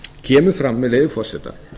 kemur fram með leyfi forseta